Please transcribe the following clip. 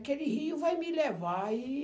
Aquele rio vai me levar. E...